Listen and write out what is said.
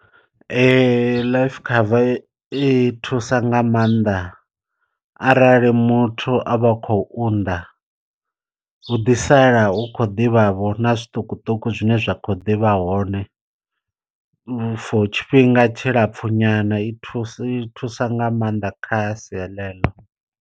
Life cover i thusa nga maanḓa arali muthu a vha khou unḓa u ḓi sala u khou ḓivha vha vho na zwiṱukuṱuku zwine zwa kho ḓivha hone. For tshifhinga tshilapfu nyana i thusa i thusa nga maanḓa kha sia ḽe ḽo.